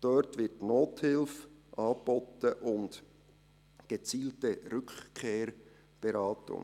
Dort werden Nothilfe und gezielte Rückkehrberatung